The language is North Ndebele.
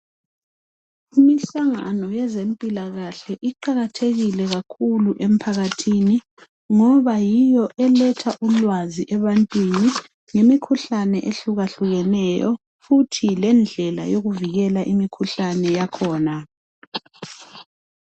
Imihlangano yezempilakahle iqakatheke kakhulu emphakathini ngoba yiyo eletha ulwazi ebantwini ngemikhuhlane ehlukahlukeneyo futhi lendlela yokuvikela imikhuhlane yakhona.